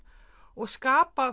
og skapa